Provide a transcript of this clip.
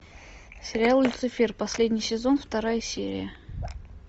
сериал люцифер последний сезон вторая серия